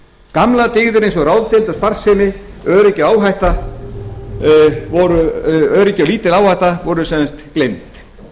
gamlar dyggðir eins og ráðdeild og sparsemi öryggi og lítil áhætta voru sem sagt gleymd